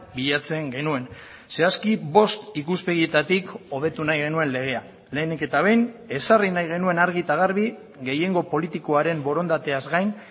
bilatzen genuen zehazki bost ikuspegietatik hobetu nahi genuen legea lehenik eta behin ezarri nahi genuen argi eta garbi gehiengo politikoaren borondateaz gain